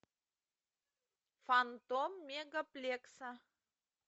фантом мегаплекса